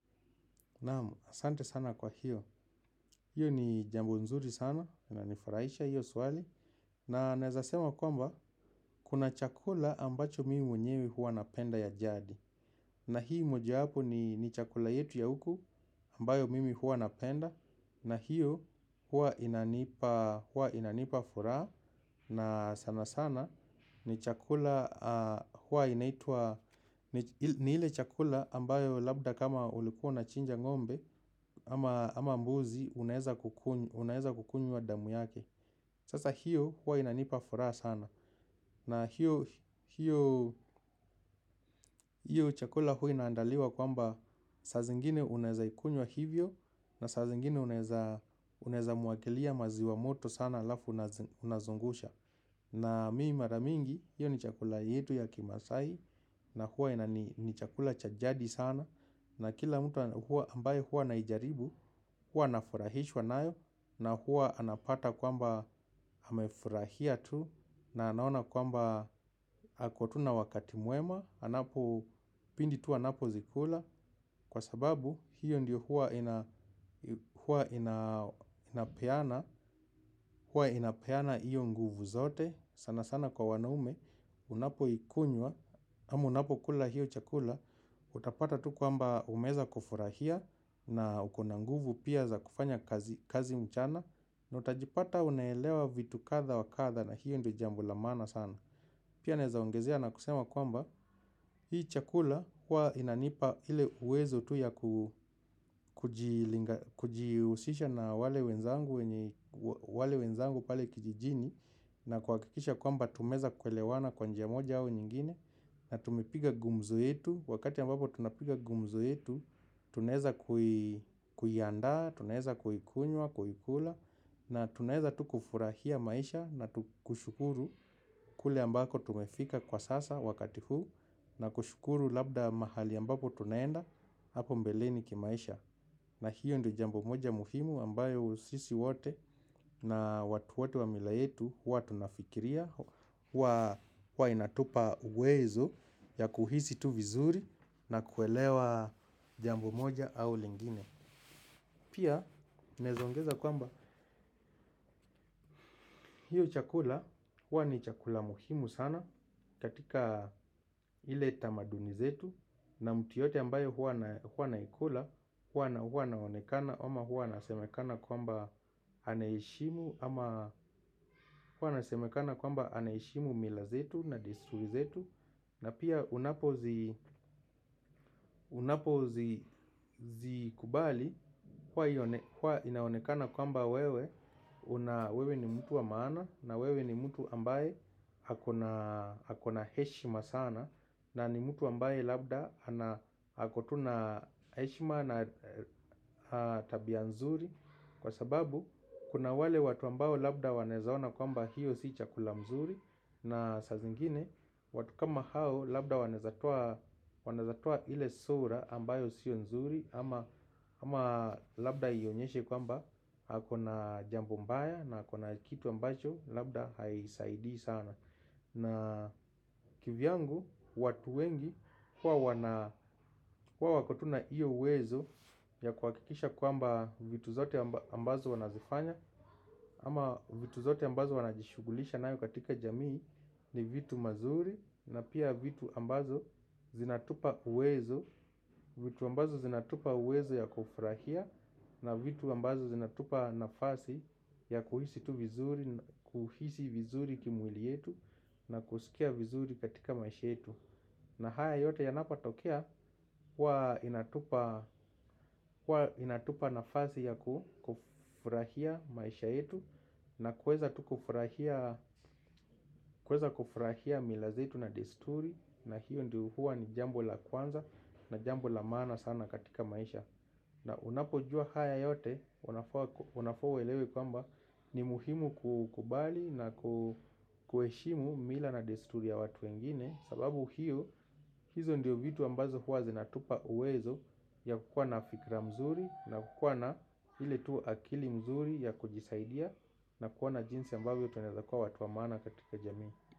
Naam, asante sana kwa hiyo, hiyo ni jambo nzuri sana, linanifurahisha hiyo swali. Na naezasema kwamba, kuna chakula ambacho mimi mwenyewe huwa napenda ya jadi. Na hii mojawapo ni chakula yetu ya huku, ambayo mimi huwa napenda. Na hiyo huwa inanipa furaha, na sana sana ni chakula huwa inaitwa. Ni ile chakula ambayo labda kama ulikuwa unachinja ngombe. Ama mbuzi unaeza kukunywa damu yake. Sasa hiyo huwa inanipa furaha sana. Na hiyo. Chakula huwa inaandaliwa kwamba saa zingine unaeza ikunywa hivyo. Na saa zingine unaeza mwagilia maziwa moto sana halafu unazungusha. Na mi mara mingi, hiyo ni chakula yetu ya kimaasai. Na huwa ni chakula cha jadi sana. Na kila mtu ambaye huwa anaijaribu. Huwa anafurahishwa nayo na huwa anapata kwamba amefurahia tu na anaona kwamba ako tu na wakati mwema bidi tu anapozikula kwa sababu hiyo ndiyo huwa inapeana huwa inapeana hiyo nguvu zote. Sana sana kwa wanaume unapoikunywa amu unapo kula hiyo chakula. Utapata tu kwamba umeeza kufurahia na uko na nguvu pia za kufanya kazi mchana. Na utajipata unaelewa vitu kadha wa kadha na hiyo ndio jambo la maana sana. Pia naeza ongezea na kusema kwamba hii chakula huwa inanipa ile uwezo tu ya kujihusisha na wale wenzangu pale kijijini. Na kuhakikisha kwamba tumeeza kuelewana kwa njia moja au nyingine. Na tumpige gumzo yetu, wakati ambapo tunapiga gumzo yetu, tunaeza kuiandaa, tunaeza kuikunywa, kuikula. Na tunaeza tu kufurahia maisha na kushukuru kule ambako tumefika kwa sasa wakati huu. Na kushukuru labda mahali ambapo tunaenda hapo mbeleni kimaisha. Na hiyo ndo jambo moja muhimu ambayo sisi wote na watu wote wa mila yetu, huwa tunafikiria kuwa inatupa uwezo ya kuhisi tu vizuri na kuelewa jambo moja au lingine. Pia naeza ongeza kwamba hiyo chakula huwa ni chakula muhimu sana. Katika ile tamaduni zetu na mtu yeyote ambayo huwa anaikula. Huwa anaonekana ama huwa anasemekana kwamba anaheshimu. Ama huwa nasemekana kwamba anaheshimu mila zetu na disu zetu. Na pia unapo zikubali kuwa inaonekana kwamba wewe wewe ni mtu wa maana. Na wewe ni mtu ambaye hakona heshima sana. Na ni mtu ambaye labda hako tu na heshima na tabia nzuri. Kwa sababu kuna wale watu ambao labda wanaeza ona kwamba hiyo si chakula mzuri. Na sa zingine watu kama hao labda wanaeza toa ile sura ambayo sio nzuri. Ama labda ionyeshe kwamba akona jambo mbaya na akona kitu ambacho labda haisaidii sana. Na kivyangu watu wengi kwao wako tu na iyo uwezo ya kuhakikisha kwamba vitu zote ambazo wanazifanya. Ama vitu zote ambazo wanajishugulisha nayo katika jamii ni vitu mazuri na pia vitu ambazo zinatupa uwezo. Vitu ambazo zinatupa uwezo ya kufurahia na vitu ambazo zinatupa nafasi ya kuhisi tu vizuri, kuhisi vizuri kimwili yetu na kusikia vizuri katika maisha yetu. Na haya yote yanapatokea, hua inatupa nafasj ya kufurahia maisha yetu. Na kuweza kufurahia mila zetu na desturi. Na hiyo ndio huwa ni jambo la kwanza na jambo la maana sana katika maisha. Na unapo jua haya yote, unafaa uelewe kwamba ni muhimu kukubali na kuheshimu mila na desturi ya watu wengine. Sababu hiyo hizo ndiyo vitu ambazo huwaze na hutupa uwezo ya kukwana fikra mzuri. Na kukwana hile tu akili mzuri ya kujisaidia na kukwana jinsi ambayo tunelakua watu wa mana katika jamii.